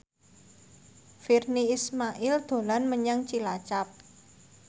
Virnie Ismail dolan menyang Cilacap